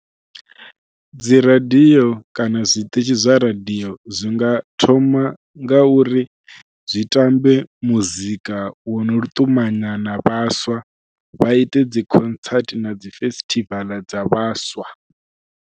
Dzi radio kana zwiṱitshi zwa radio zwi nga thoma nga uri zwi tambe muzika wo no lu ṱumanya na vhaswa, vha ite dzi concerts na dzi festival dza vhaswa.